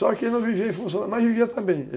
Só que ele não vivia em função da juta, mas vivia também.